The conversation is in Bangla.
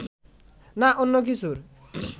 না অন্য কিছু